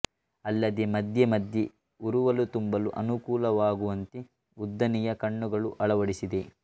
ಅಲ್ಲದೆ ಮಧ್ಯೆ ಮಧ್ಯೆ ಉರುವಲು ತುಂಬಲು ಅನುಕೂಲವಾಗುವಂತೆ ಉದ್ದನೆಯ ಕಣ್ಣುಗಳನ್ನು ಅಳವಡಿಸಿದೆ